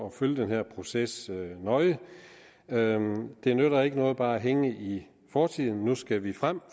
at følge den her proces nøje det nytter ikke noget bare at hænge i fortiden nu skal vi frem